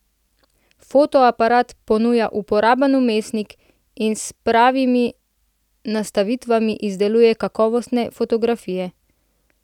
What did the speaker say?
Fotoaparat ponuja uporaben vmesnik in s pravimi nastavitvami izdeluje kakovostne fotografije.